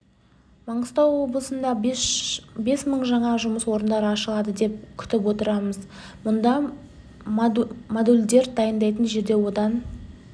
маңғыстау облысында бес мың жаңа жұмыс орындары ашылады деп күтіп отырмыз мына модульдар дайындайтын жерде одан